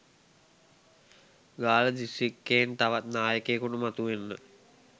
ගාල්ල දිස්ත්‍රික්කයෙන් තවත් නායකයකුට මතු වෙන්න